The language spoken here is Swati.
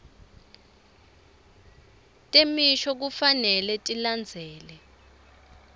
temisho kufanele tilandzele